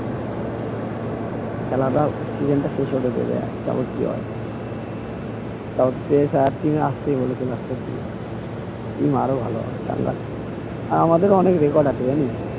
খেলাটাও কি বলতো শেষ হতে দে এবার তারপরে কি হয় team এ আসতে বলেছে last এর দিকে team আরো ভালো হবে চাঙ্গা team আর আমাদের অনেক record আছে জানিস